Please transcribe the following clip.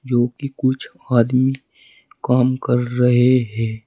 जो कि कुछ आदमी काम कर रहे है।